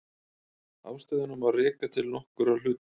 Ástæðuna má reka til nokkurra hluta.